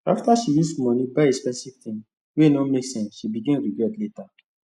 after she use money buy expensive thing wey no make sense she begin regret later